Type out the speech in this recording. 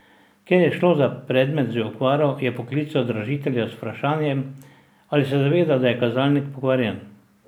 Ker je šlo za predmet z okvaro, je poklical dražitelja z vprašanjem, ali se zaveda, da je kazalnik pokvarjen.